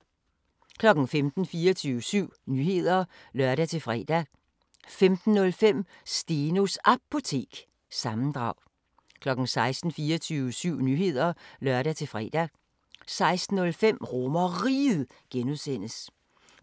15:00: 24syv Nyheder (lør-fre) 15:05: Stenos Apotek – sammendrag 16:00: 24syv Nyheder (lør-fre) 16:05: RomerRiget (G) 17:00: